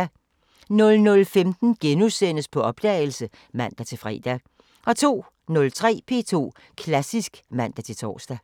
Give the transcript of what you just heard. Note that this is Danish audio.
00:15: På opdagelse *(man-fre) 02:03: P2 Klassisk (man-tor)